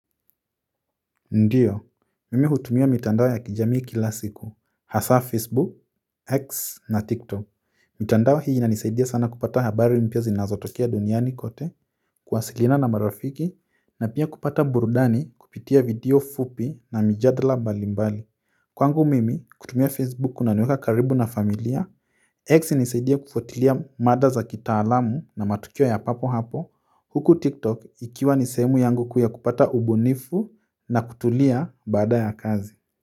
Ndiyo, mimi hutumia mitandao ya kijami kila siku, hasa Facebook, X na TikTok, mitandao hii na nisaidia sana kupata habari mpya zinazo tokea duniani kote. Kuwasilina na marafiki na pia kupata burudani kupitia video fupi na mijadala mbalimbali kwangu mimi kutumia Facebook kuna niweka karibu na familia x inisaidia kufutilia mada za kitaalamu na matukio ya papo hapo huku TikTok ikiwa ni sehemu yangu ya kupata ubunifu na kutulia baada ya kazi.